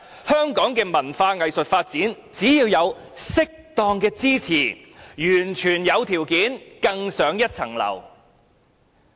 香港的文化藝術發展，只要有適當的支持，完全有條件更上層樓。